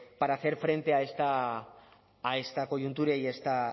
para hacer frente a esta coyuntura y a esta